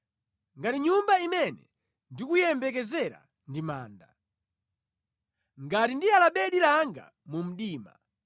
Ngati nyumba imene ndikuyiyembekezera ndi manda, ngati ndiyala bedi langa mu mdima,